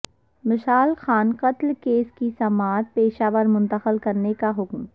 مشال خان قتل کیس کی سماعت پشاور منتقل کرنے کا حکم